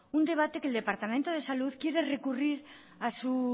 un debate que el departamento de salud quiere recurrir a su